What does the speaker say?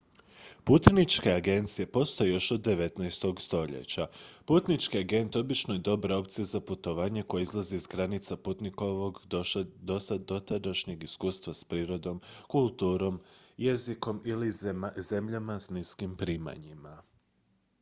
putničke agencije postoje još od 19. stoljeća putnički agent obično je dobra opcija za putovanje koje izlazi iz granica putnikovog dotadašnjeg iskustva s prirodom kulturom jezikom ili zemljama s niskim primanjima